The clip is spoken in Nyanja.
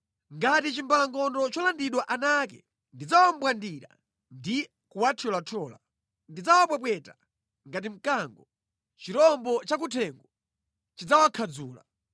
Ngati chimbalangondo cholandidwa ana ake, ndidzawambwandira ndi kuwathyolathyola. Ndidzawapwepweta ngati mkango; chirombo chakuthengo chidzawakhadzula.